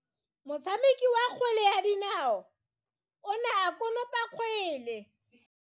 Motshameki wa kgwele ya dinao o ne a konopa kgwele.